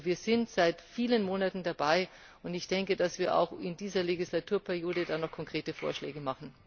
Wir sind also seit vielen Monaten dabei und ich denke, dass wir auch dann in dieser Legislaturperiode noch konkrete Vorschläge machen.